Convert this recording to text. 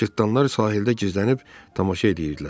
Cırtdanlar sahildə gizlənib tamaşa eləyirdilər.